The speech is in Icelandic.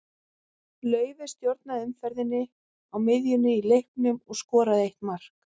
Laufey stjórnaði umferðinni á miðjunni í leiknum og skoraði eitt mark.